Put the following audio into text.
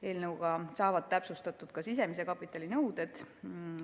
Eelnõuga täpsustatakse ka sisemise kapitali nõudeid.